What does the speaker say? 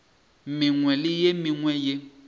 mengwe le ye mengwe ye